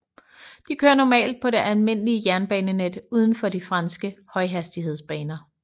De kører normalt på det almindelige jernbanenet udenfor de franske højhastighedsbaner